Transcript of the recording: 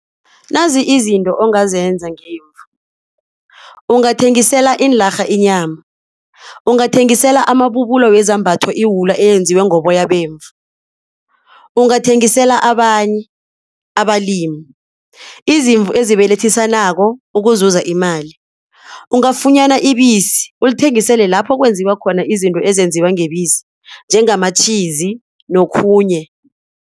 Nazi izinto ongazenza ngemvu, ungathengisela iinlarha inyama. Ungathengisela amabubulo wezambatho iwula eyenziwe ngoboyabo bemvu. Ungathengisela abanye abalimi izimvu ezibelethisanako ukuzuza imali. Ungafunyana ibisi ulithengisele lapho kwenziwa khona izinto ezenziwa ngebisi njengamatjhizi nokhunye.